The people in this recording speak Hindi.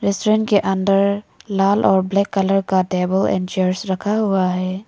रेस्टोरेंट के अंदर लाल और ब्लैक कलर का टेबल ऐन चेयर्स रखा हुआ है।